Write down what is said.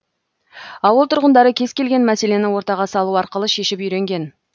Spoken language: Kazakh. ауыл тұрғындары кез келген мәселені ортаға салу арқылы шешіп үйренген